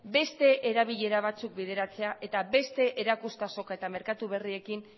beste erabilera batzuk bideratzea eta beste erakustazoka eta merkatu berriekin